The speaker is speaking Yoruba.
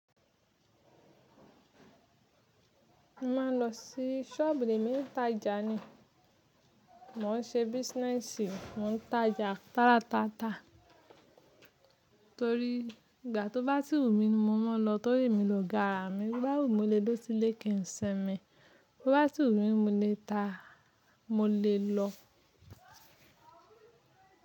Mo máa ń lọ sí sọ́ọ̀bù mìí emi n tá ja ni. Mò ń ṣe business, mò ń ta ja tálátátà torí ìgbà tó bá sí wu mí ni mo máa n lọ torí emi lòga àrà mi. Bobá wù mí mó le duro sílé kí n ṣinmí, bo bá sì wù mí mo lè ta, mo lè lọ.